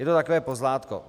Je to takové pozlátko.